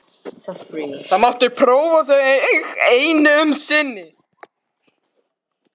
Það mátti prófa þau enn um sinn.